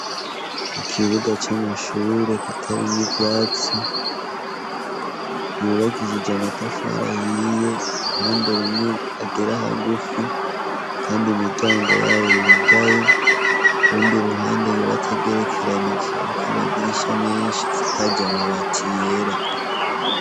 Ikibuga c'amashure kitarimwo ivyatsi yubakishije amatafari ahiye uruhande rumwe agera hagufi kandi imiryango yayo yugaye ku rundi ruhande yubatse agerekeranije inzu iriko amadirisha menshi isakaje amabati yera.